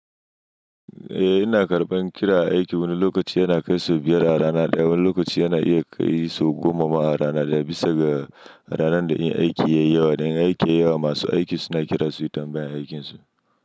Eh ina karɓan kira aiki, wani lokaci yana kai su biyar a rana ɗaya, wani lokaci yana iya kai su goma ma a rana ɗaya, bisa ga ranar da aiki yayi yawa. Dan aiki yayi yawa, masu aiki suna kira suyi tambayan aikinsu.